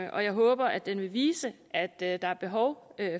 og jeg håber at den vil vise at der der er behov